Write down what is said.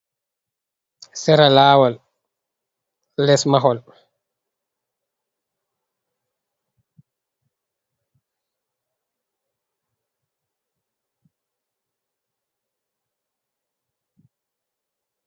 Sera laawol les mahol.